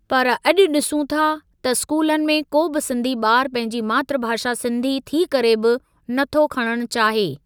पर अॼु ॾिसूं था त स्कूलनि में को बि सिंधी ॿारु पंहिंजी मातृभाषा सिंधी थी करे बि नथो खणण चाहे।